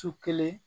Su kelen